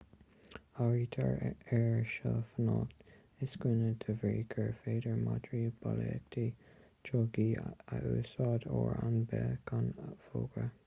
áirítear air seo fanacht i scuaine de bhrí gur féidir madraí bolaíochta drugaí a úsáid uair ar bith gan fógra